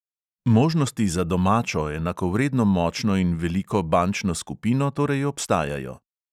Možnosti za domačo, enakovredno močno in veliko bančno skupino torej obstajajo.